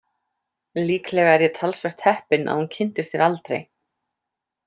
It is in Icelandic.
Líklega er ég talsvert heppinn að hún kynntist þér aldrei.